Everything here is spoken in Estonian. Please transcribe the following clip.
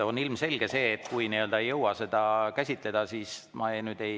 On ilmselge, et kui ei jõua seda käsitleda, siis.